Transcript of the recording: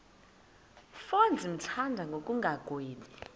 mfo ndimthanda ngokungagwebi